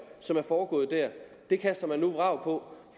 som er foregået der kaster man nu vrag på